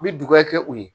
Me dugu ya kɛ u ye